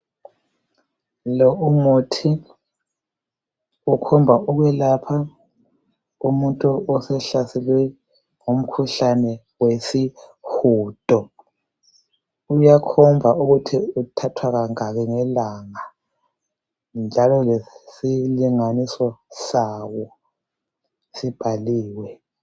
Lo umuthi ukhomba ukwelapha umuntu osehlaselwe ngumkhuhlane wesihudo uyakhomba ukuthi uthathwa kangaki ngelanga njalo lesilinganiso sawo sibhaliwe.